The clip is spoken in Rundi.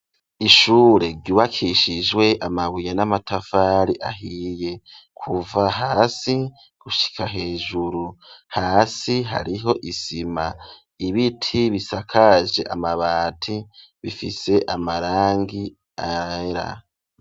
Ishure ryubakishijwe amabuye n'amatafari ahiye kuva hasi gushika hejuru hasi hariho isima ibiti bisakaje amabati bifise amarangi yera.